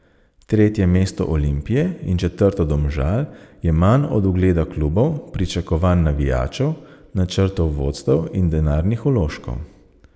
Tretje mesto Olimpije in četrto Domžal je manj od ugleda klubov, pričakovanj navijačev, načrtov vodstev in denarnih vložkov.